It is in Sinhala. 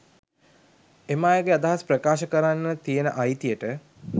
එම අයගේ අදහස් ප්‍රකාශ කරන්න තියන අයතියට